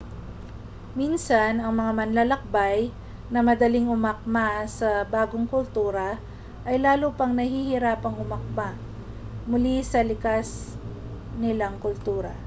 minsan ang mga manlalakbay na madaling umakma sa bagong kultura ay lalo pang nahihirapang umakma muli sa likas nilang kultura